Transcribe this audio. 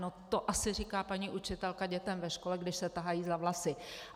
No to asi říká paní učitelka dětem ve škole, když se tahají za vlasy.